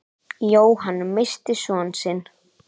Jóhann missti son sinn.